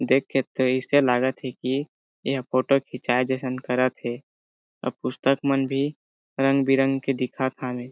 देख के तो अइसे लागत हे की यह फोटो खिचाये जइसन करत हे अब पुस्तक मन भी रंग-बिरंगी दिखत हावे।